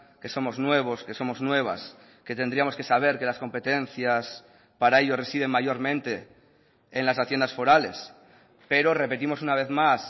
que somos nuevos que somos nuevas que tendríamos que saber que las competencias para ello residen mayormente en las haciendas forales pero repetimos una vez más